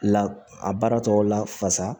La a baara tɔw la fasa